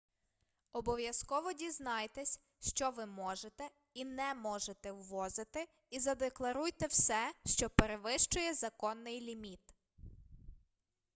обов'язково дізнайтесь що ви можете і не можете ввозити і задекларуйте все що перевищує законний ліміт